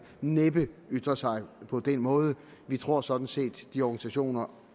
næppe ytre sig på den måde vi tror sådan set at de organisationer